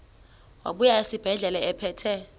wabuya esibedlela ephethe